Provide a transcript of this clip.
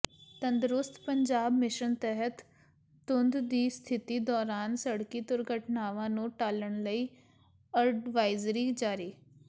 ਤੰਦਰੁਸਤ ਪੰਜਾਬ ਮਿਸ਼ਨ ਤਹਿਤ ਧੁੰਦ ਦੀ ਸਥਿਤੀ ਦੌਰਾਨ ਸੜਕੀ ਦੁਰਘਟਨਾਵਾਂ ਨੂੰ ਟਾਲਣ ਲਈ ਅਡਵਾਈਜ਼ਰੀ ਜਾਰੀ